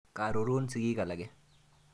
Kororon sigik alake.